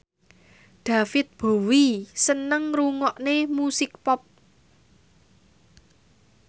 David Bowie seneng ngrungokne musik pop